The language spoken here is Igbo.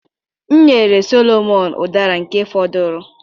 M nyere Solomon Udara nke fọduru.